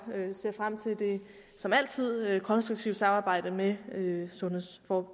ser frem til det som altid konstruktive samarbejde med sundheds og